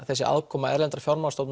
þessi aðkoma erlendrar